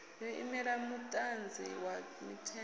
yo imela muṅadzi wa mithenga